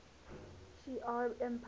shi ar empire